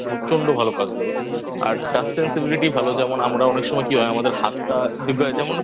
প্রচন্ড ভালো কাজ দেবে আর Touch Sensibility ভালো যেমন আমরা অনেক সময় কি হয় আমাদের হাতটা